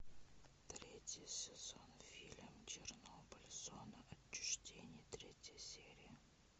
третий сезон фильм чернобыль зона отчуждения третья серия